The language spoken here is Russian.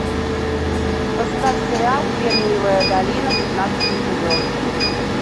поставь сериал кремниевая долина пятнадцатый сезон